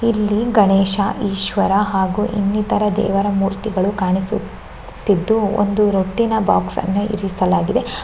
ಇಲ್ಲಿ ಗಣೇಶ ಈಶ್ವರ ಹಾಗು ಇನ್ನಿತರ ದೇವರ ಮೂರ್ತಿಗಳು ಕಾಣಿಸುತ್ತಿದ್ದು ಒಂದು ರಟ್ಟಿನ ಬಾಕ್ಸ್ ಅನ್ನು ಇರಿಸಲಾಗಿದೆ.